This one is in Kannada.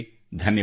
ಧನ್ಯವಾದ